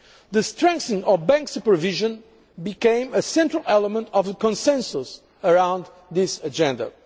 tasks. The strengthening of bank supervision became a central element of the consensus around this